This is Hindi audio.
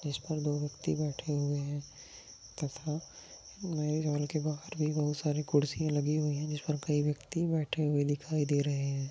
इस पर दो व्यक्ति बैठे हुए है तथा नए घर के बाहर भी बहुत सारे कुरसिया लगी हुई है जिसपर कई व्यक्ति बैठे हुए दिखाई दे रहे है।